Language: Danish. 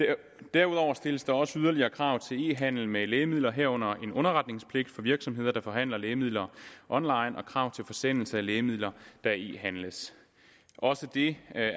derudover stilles der også yderligere krav til e handel med lægemidler herunder en underretningspligt for virksomheder der forhandler lægemidler online og krav til forsendelse af lægemidler der e handles også det